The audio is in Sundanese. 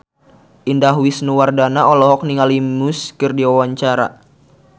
Indah Wisnuwardana olohok ningali Muse keur diwawancara